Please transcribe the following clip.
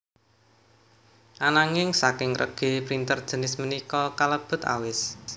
Ananging saking regi printer jinis punika kalebet awis